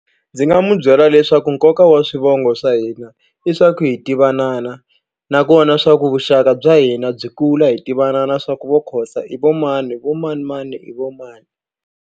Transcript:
Ndzi nga mu byela leswaku nkoka wa swivongo swa hina i swa ku hi tivanana nakona swa ku vuxaka bya hina byi kula hi tivana swa ku vo Khoza i vo mani vo manimani i vo mani.